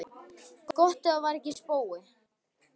Gott ef það var ekki spói.